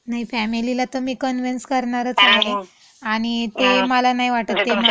नाही. फॅमिलीला तं कनव्हेनस करणारच आहे. आणि ते मला नाही वाटत ते मला हे करतील. कारण.